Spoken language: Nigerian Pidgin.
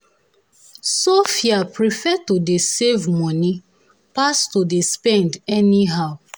sophia prefer to dey save money pass to dey spend anyhow.